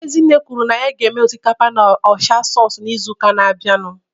Ezinne kwuru na ya ga-eme osikapa na ocha sauce n'izu na-abịa